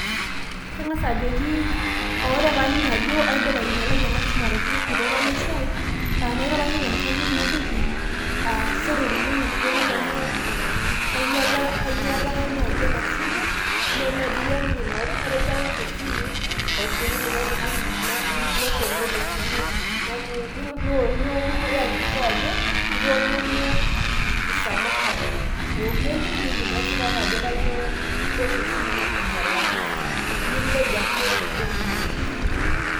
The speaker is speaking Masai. Kangasa ajoki ore paaning ajo aidipa ainyalai ena simu arashu orkitok lai le siai, nairoroki te nkanyit najoki aa sore oleng orkirok aai amu kainyala kainyalaka nai ena simu, meeyie nai agira aingoru katejo aoshoki simu naoshoki likae tungani nepongori simu nii ii iyakikisha ajo itoomonuo cs msamaha cs eukweli nilimu esipata ajo itoosho esimu ainyalaki milej ake Orkitok lino.